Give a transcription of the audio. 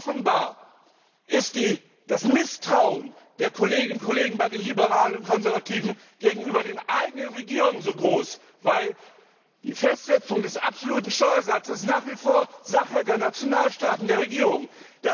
Offenbar ist das Misstrauen der Kolleginnen und Kollegen bei den Liberalen und Konservativen gegenüber den eigenen Regierungen so groß, weil die Festsetzung des absoluten Steuersatzes nach wie vor Sache der Nationalstaaten, der Regierungen ist.